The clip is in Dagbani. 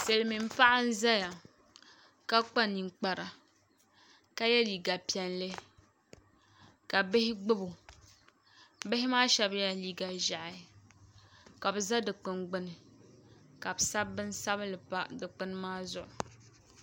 Silmiin paɣa n ʒɛya ka kpa ninkpara ka yɛ liiga piɛlli ka bihi gbubo Bihi maa shab yɛla liiga ʒiɛhi ka bi ʒɛ dikpuni gbuni ka bi sabi bin sabinli pa Dikpuni maa zuɣu